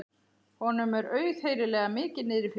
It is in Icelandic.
Honum er auðheyrilega mikið niðri fyrir.